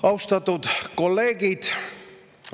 Austatud kolleegid!